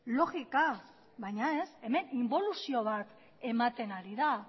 logika baina ez hemen inbolusio bat ematen ari da